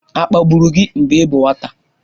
A kpagburu gị mgbe ị bụ nwata?